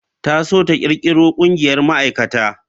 Ta so ta kirkiro ƙungiyar ma'aikata.